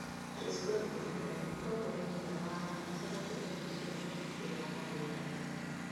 Beatrice Godwin: Ũrĩa mũtongoria mũnene wa Lions aracenjia meciria ma mũbira wa magũrũ Tanzania.